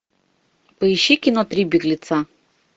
поищи кино три беглеца